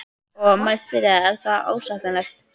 Og þá má spyrja sig, er það ásættanlegt?